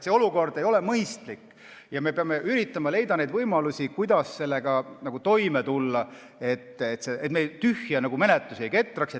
See olukord ei ole mõistlik ja me peame üritama leida võimalusi, kuidas sellega toime tulla, et me tühje menetlusi ei ketraks.